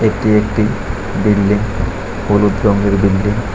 এটি একটি বিল্ডিং হলুদ রঙের বিল্ডিং ।